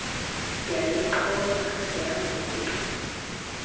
yayixhoma yangu nke